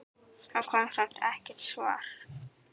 Það kom samt ekkert svar.